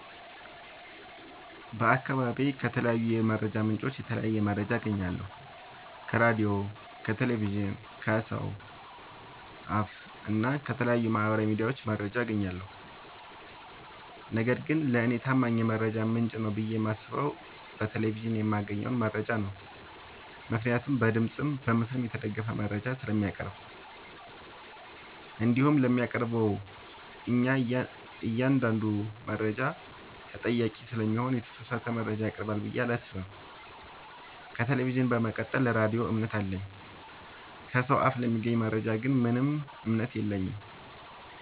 በአካባቢዬ ከተለያዩ የመረጃ ምንጮች የተለያየ መረጃ አገኛለሁ ከራዲዮ ከቴሌቪዥን ከሰው አፋ እና ከተለያዩ ማህበራዊ ሚዲያዎች መረጃ አጋኛለሁ። ነገርግን ለኔ ታማኝ የመረጃ ምንጭ ነው ብዬ የማስበው በቴሌቪዥን የማገኘውን መረጃ ነው ምክንያቱም በድምፅም በምስልም የተደገፈ መረጃ ስለሚያቀርብ። እንዲሁም ለሚያቀርበው እኛአንዳዱ መረጃ ተጠያቂ ስለሚሆን የተሳሳተ መረጃ ያቀርባል ብዬ አላሰብም። ከቴሌቪዥን በመቀጠል ለራዲዮ እምነት አለኝ። ከሰው አፍ ለሚገኝ መረጃ ግን ምንም እምነት የለኝም።